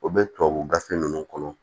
O bɛ tubabu gafe ninnu kɔnɔ